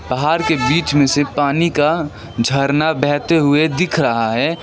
पहार के बीच में से पानी का झरना बहते हुए दिख रहा है।